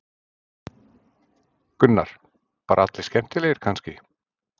Gunnar: Bara allir skemmtilegir kannski?